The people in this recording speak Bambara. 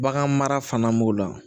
Bagan mara fana b'o la